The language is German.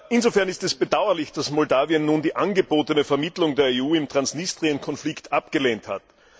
Insofern ist es bedauerlich, dass Moldawien nun die angebotene Vermittlung der EU im Transnistrien Konflikt abgelehnt hat.